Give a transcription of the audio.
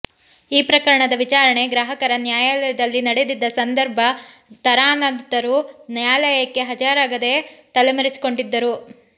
ಈ ಪ್ರಕರಣದ ವಿಚಾರಣೆ ಗ್ರಾಹಕ ನ್ಯಾಯಾಲಯದಲ್ಲಿ ನಡೆದಿದ್ದ ಸಂದರ್ಭ ತಾರನಾಥರವರು ನ್ಯಾಯಾಲಯಕ್ಕೆ ಹಾಜರಾಗದೆ ತಲೆಮರೆಸಿಕೊಂಡಿದ್ದರು